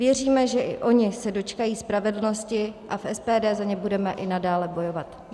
Věříme, že i oni se dočkají spravedlnosti a v SPD za ně budeme i nadále bojovat.